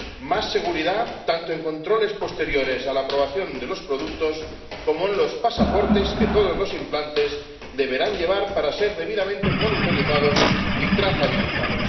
más seguridad tanto en controles posteriores a la aprobación de los productos como en los pasaportes que todos los implantes deberán llevar para ser debidamente monitorizados y trazabilizados